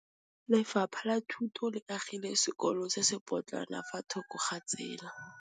Lefapha la Thuto le agile sekôlô se se pôtlana fa thoko ga tsela.